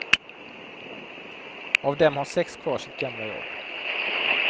Av dem har sex kvar sitt gamla jobb.